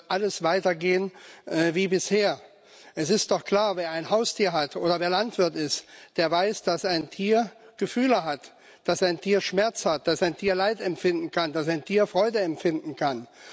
Wird alles weitergehen wie bisher? Es ist doch klar Wer ein Haustier hat oder wer Landwirt ist, der weiß, dass ein Tier Gefühle hat, dass ein Tier Schmerz hat, dass ein Tier Leid empfinden kann, dass ein Tier Freude empfinden kann.